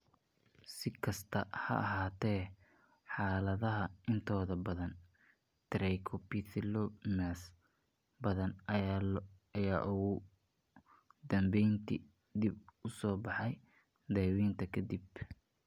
Si kastaba ha ahaatee, xaaladaha intooda badan, trichoepitheliomas badan ayaa ugu dambeyntii dib u soo baxa daaweynta ka dib.